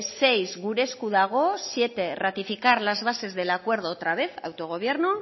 seis gure esku dago siete ratificar las bases del acuerdo otra vez autogobierno